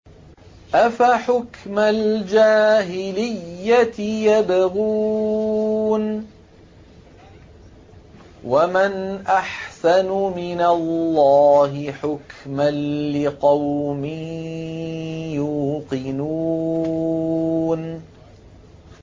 أَفَحُكْمَ الْجَاهِلِيَّةِ يَبْغُونَ ۚ وَمَنْ أَحْسَنُ مِنَ اللَّهِ حُكْمًا لِّقَوْمٍ يُوقِنُونَ